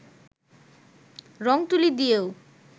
রং-তুলি দিয়েও